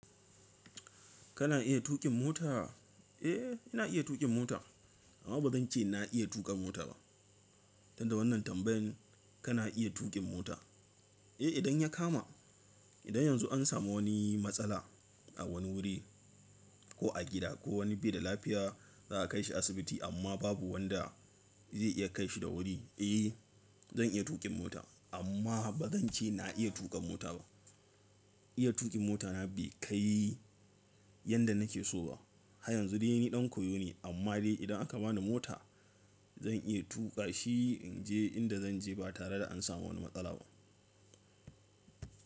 Kana iya tuƙin mota? Eh, ina iya tuƙin mota amma ba zan ce na iya tuƙa mota ba. Tunda wannan tambayan kana iya tuƙin mota? Eh, idan ya kama. Idan yanzu an samu wani matsala a wani wuri ko a gida ko wani bai da lafiya za a kai shi asibiti amma babu wanda zai iya kai shi da wuri, eh zan iya tuƙin mota amma ba zan ce na iya tuƙa mota ba. Iya tuƙin mota na bai kai yanda nake so ba. Ha yanzu dai ni ɗan koyo ne amma dai idan aka bani mota zan iya tuƙa shi in je inda zan je ba tare da an samu wani matsala ba.